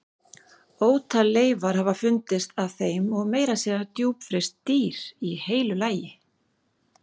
Ótal leifar hafa fundist af þeim og meira að segja djúpfryst dýr í heilu lagi.